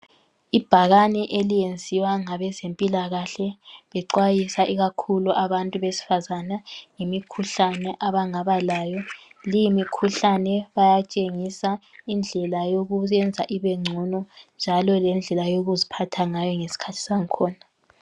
Ibhakane eliyenziwa ngabezempilakahle bexwayisa ikakhulu abantu besifazana ngemikhuhlane abangaba layo. Leyi mikhuhlane bayatshengisa indlela yokuyenza ibengcono njalo lendlela yokuziphatha ngayo ngesikhathi sangkhona.